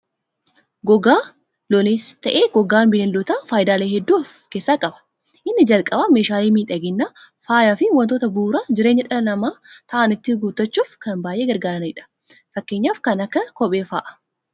Gogaan looniis ta'ee gogaan Bineeldota fayidaalee hedduu of keessaa qaba. Inni jalqabaa meeshaalee miidhaginaa, faayaa fi waantota bu'uura jireenyaa dhala namaa ta'an ittiin guuttachuuf kan baayyee gargaaranidha. Fakkeenyaaf kan akka kophee fa'aa.